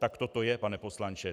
Takto to je, pane poslanče.